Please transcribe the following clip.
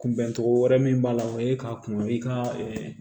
Kunbɛncogo wɛrɛ min b'a la o ye k'a kun i ka